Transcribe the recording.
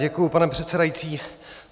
Děkuji, pane předsedající.